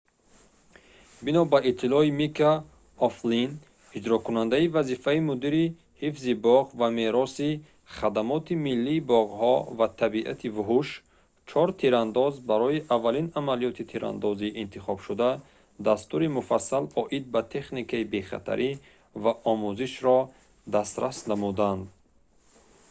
бино ба иттилои мика o'флинн иҷрокунандаи вазифаи мудири ҳифзи боғ ва меросии хмбв хадамоти миллии боғҳо ва табиати вуҳуш чор тирандоз барои аввалин амалиёти тирандозӣ интихобшуда дастури муфассал оид ба техникаи бехатарӣ ва омӯзишро дастрас намуданд